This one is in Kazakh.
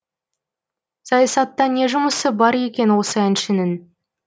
саясатта не жұмысы бар екен осы әншінің